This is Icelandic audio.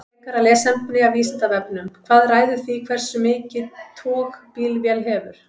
Frekara lesefni af Vísindavefnum: Hvað ræður því hversu mikið tog bílvél hefur?